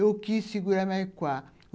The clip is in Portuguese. Eu quis segurar, mas qual?